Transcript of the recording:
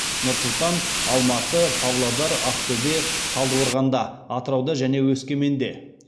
нұр сұлтанда алматыда павлодарда ақтөбеде талдықорғанда атырауда және өскеменде